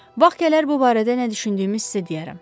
Vaxt gələr bu barədə nə düşündüyümü sizə deyərəm.